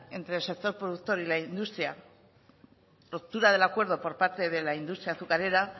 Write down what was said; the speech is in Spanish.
entre el sector productor y la industria la ruptura del acuerdo por parte de la industria azucarera